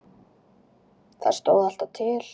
Það stóð alltaf til.